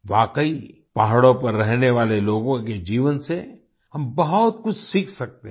वाकई पहाड़ों पर रहने वाले लोगों के जीवन से हम बहुत कुछ सीख सकते हैं